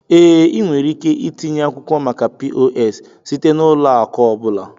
Ee, ị nwere ike itinye akwụkwọ maka POS site na ụlọ akụ ọ bụla.